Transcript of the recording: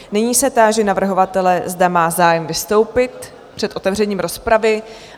Nyní se táži navrhovatele, zda má zájem vystoupit před otevřením rozpravy.